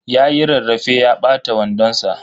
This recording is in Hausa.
Yayi rarrafe ya ɓata wandon sa.